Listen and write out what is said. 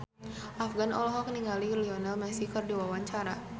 Afgan olohok ningali Lionel Messi keur diwawancara